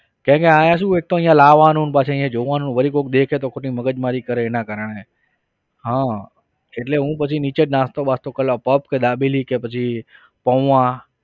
કેમ કે અહીંયા શું એક તો અહીંયા લાવાનું પછી અહીંયા જોવાનું વળી કોઈક દેખે તો ખોટી મગજમારી કરે એના કારણે હા એટલે હું પછી નીચે જ નાસ્તો બાસ્તો કરી લઉં પફ કે દાબેલી કે પછી પૌવા.